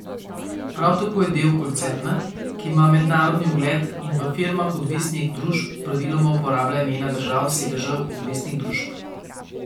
Prav tako je del koncerna, ki ima mednarodni ugled in v firmah odvisnih družb praviloma uporablja imena držav sedežev odvisnih družb.